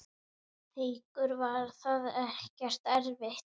Haukur: Var það ekkert erfitt?